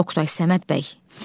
Oqtay, Səməd bəy.